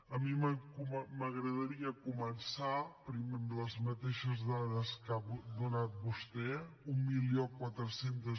a mi m’agradaria començar primer amb les mateixes dades que ha donat vostè mil quatre cents